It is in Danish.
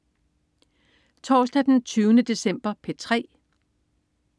Torsdag den 20. december - P3: